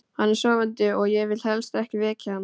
Hann er sofandi og ég vil helst ekki vekja hann.